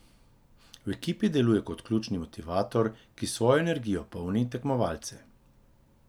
V ekipi deluje kot ključni motivator, ki s svojo energijo polni tekmovalce.